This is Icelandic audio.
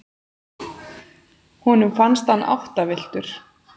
Honum fannst hann áttavilltur.